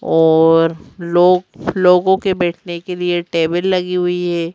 और लोग लोगों के बैठने के लिए टेबल लगी हुई है।